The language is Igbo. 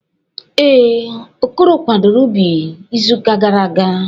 Ee, Okoro kwadoro ubi izuụka gara aga.